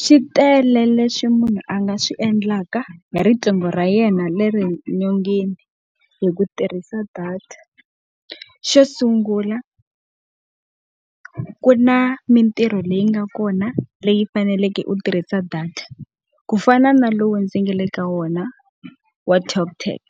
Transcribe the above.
Swi tele leswi munhu a nga swi endlaka hi riqingho ra yena leri nyongeni hi ku tirhisa data. Xo sungula ku na mintirho leyi nga kona leyi faneleke u tirhisa data. Ku fana na lowu ndzi nga le ka wona wa Talk Tag,